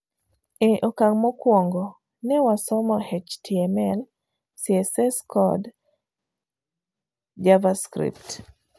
Eokang' mokuongo, ne wasomo HTML,CSS kod v Java Scrift.